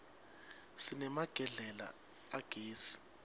sinemagedlela agezi